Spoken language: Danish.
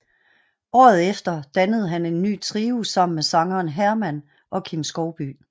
Året efter dannede han en ny trio sammen med sangeren Herman og Kim Skovbye